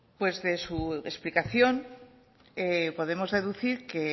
pues de su explicación podemos deducir que